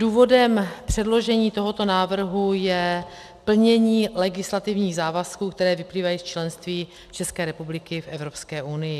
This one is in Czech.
Důvodem předložení tohoto návrhu je plnění legislativních závazků, které vyplývají z členství České republiky v Evropské unii.